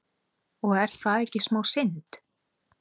Og er það ekki smá synd?